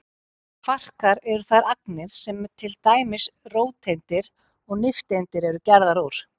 Kvarkar eru þær agnir sem til dæmis róteindir og nifteindir eru gerðar úr.